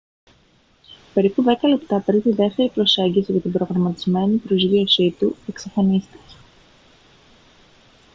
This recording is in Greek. περίπου δέκα λεπτά πριν τη δεύτερη προσέγγιση για την προγραμματισμένη προσγείωσή του εξαφανίστηκε